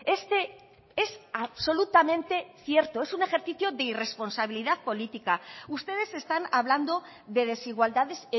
este es absolutamente cierto es un ejercicio de irresponsabilidad política ustedes están hablando de desigualdades